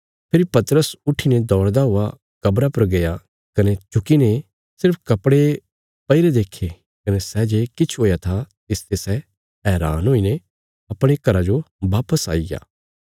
फेरी पतरस उट्ठीने दौड़दा हुआ कब्रा पर गया कने झुकीने सिर्फ कपड़े पैईरे देक्खे कने सै जे किछ हुया था तिसते सै हैरान हुईने अपणे घरा जो वापस आईग्या